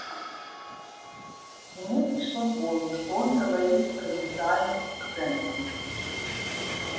ему пришло в голову что он говорит с провинциальным акцентом